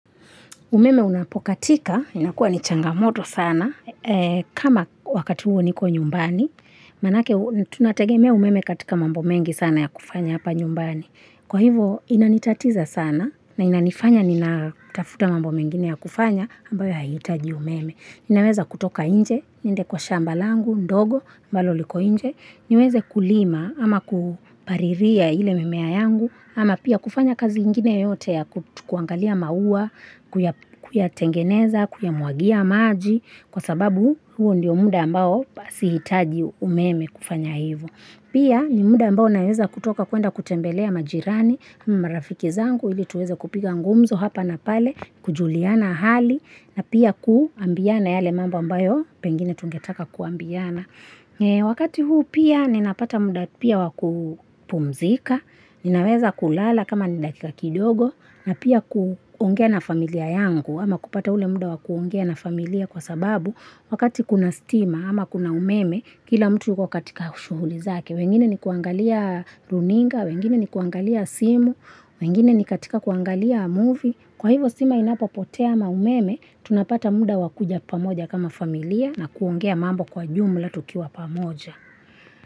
Umeme unapokatika, inakua ni changamoto sana. Kama wakati huo niko nyumbani, maanake tunategemea umeme katika mambo mengi sana ya kufanya hapa nyumbani. Kwa hivyo inanitatiza sana na inanifanya ninatafuta mambo mengine ya kufanya ambayo hayahitaji umeme. Ninaweza kutoka nje, niende kwa shamba langu ndogo, ambalo liko nje, niweze kulima ama kupalilia ile mimea yangu, ama pia kufanya kazi ingine yote ya kuangalia maua, kuyatengeneza, kuyamwagia maji, kwa sababu huo ndiyo muda ambao sihitaji umeme kufanya hivyo. Pia ni muda ambao naweza kutoka kuenda kutembelea majirani, marafiki zangu ili tuweze kupiga ngumzo hapa na pale, kujuliana hali, na pia kuambiana yale mambo ambayo, pengine tungetaka kuambiana. Wakati huu pia ninapata muda pia wa kupumzika, ninaweza kulala kama ni dakika kidogo, na pia kuongea na familia yangu, ama kupata ule muda wa kuongea na familia kwa sababu wakati kuna stima ama kuna umeme, kila mtu yuko katika shughuli zake, wengine ni kuangalia runinga, wengine ni kuangalia simu, wengine ni katika kuangalia movie. Kwa hivyo stima inapopotea ama umeme, tunapata muda wa kuja pamoja kama familia na kuongea mambo kwa jumla tukiwa pamoja.